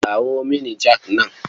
Kawo mini jak nan.